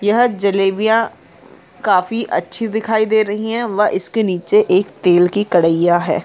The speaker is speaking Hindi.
यह जलेबियाँ काफी अच्छी दिखाई दे रही है व इसके नीचे एक तेल की कढाईया है।